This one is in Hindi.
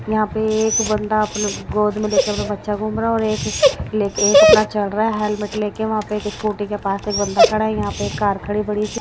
यहां पे एक बंदा अपने गोद में ले के अपना बच्चा घूम रहा और एक ले एक अपना चल रहा है हेलमेट ले के वहां पे एक स्कूटी के पास एक बंदा खड़ा है यहां पे एक कार खड़ी बड़ी सी।